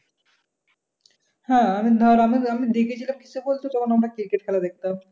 হ্যাঁ আমি ধর আমি দেখেছিলাম কিসে বলতো যখন আমরা cricket খেলা দেখতাম।